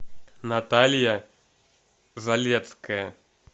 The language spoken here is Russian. наталья залецкая